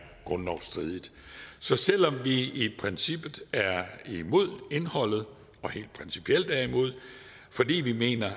grundlovsstridige så selv om vi i princippet er imod indholdet og helt principielt er imod fordi vi mener at